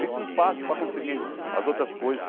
Fica um passo para conseguir as outras coisas.